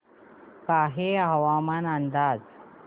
कान्हे हवामान अंदाज